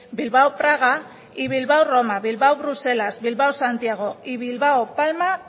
bilbao praga y bilbao roma bilbao bruselas bilbao santiago y bilbao palma